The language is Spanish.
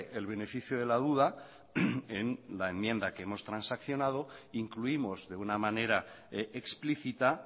el beneficio de la duda en la enmienda que hemos transaccionado incluimos de una manera explícita